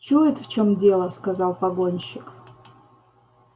чует в чём дело сказал погонщик